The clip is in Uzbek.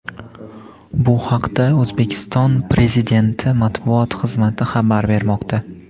Bu haqda O‘zbekiston Prezidenti matbuot xizmati xabar bermoqda.